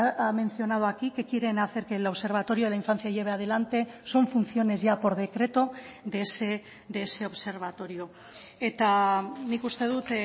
ha mencionado aquí que quieren hacer que el observatorio de la infancia lleve adelante son funciones ya por decreto de ese observatorio eta nik uste dut